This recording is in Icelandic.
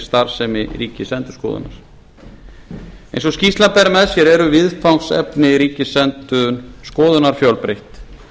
starfsemi ríkisendurskoðunar eins og skýrslan ber með sér eru viðfangsefni ríkisendurskoðunar fjölbreytt